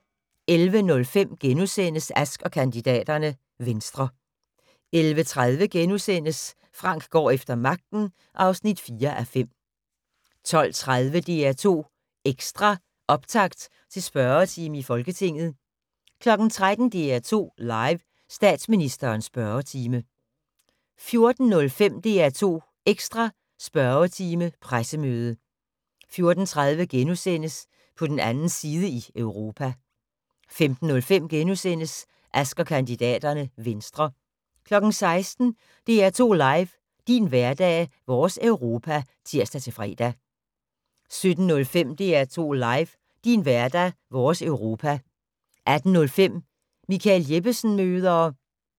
11:05: Ask & kandidaterne: Venstre * 11:30: Frank går efter magten (4:5)* 12:30: DR2 Ekstra: Optakt til spørgetime i Folketinget 13:00: DR2 Live: Statsministerens spørgetime 14:05: DR2 Ekstra: Spørgetime - pressemøde 14:30: På den 2. side i Europa * 15:05: Ask & kandidaterne: Venstre * 16:00: DR2 LIVE: Din hverdag - vores Europa (tir-fre) 17:05: DR2 LIVE: Din hverdag. Vores Europa 18:15: Michael Jeppesen møder...